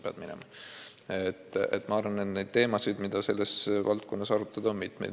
Selle valdkonna teemasid, mida arutada, on mitmeid.